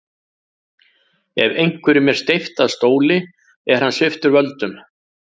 Ef einhverjum er steypt af stóli er hann sviptur völdum.